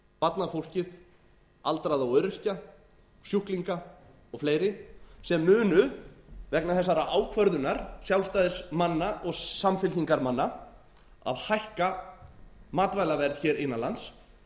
barnafólkið aldraða og öryrkja sjúklinga og fleiri sem munu vegna þessarar ákvörðunar sjálfstæðismanna og samfylkingarmanna að hækka matvælaverð hér innan lands mun leiða til þess